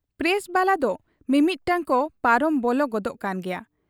Press ᱵᱟᱞᱟᱫᱚᱢᱤᱢᱤᱫᱴᱟᱹᱝ ᱠᱚ ᱯᱟᱨᱚᱢ ᱵᱚᱞᱚ ᱜᱚᱫᱚᱜ ᱠᱟᱱ ᱜᱮᱭᱟ ᱾